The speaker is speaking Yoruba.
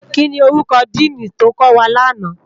Kini órúkò dìní tó kòwá làná?